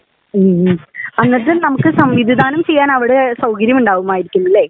ഹ്ം എന്നിട്ട് നമുക്ക് സമ്മതിദാനം ചെയ്യാൻ അവിടെ സൌകര്യം ഉണ്ടാകുമായിരിക്കും അല്ലേ